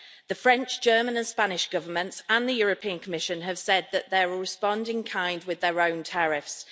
The French, German and Spanish governments, and the European Commission, have said that they will respond in kind with their own tariffs.